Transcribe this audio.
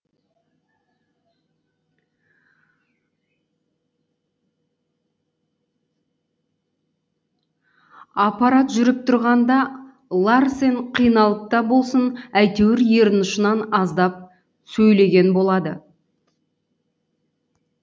аппарат жүріп тұрғанда ларсен қиналып та болсын әйтеуір ерін ұшынан аздап сөйлеген болады